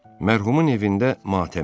Mərhumun evində matəm idi.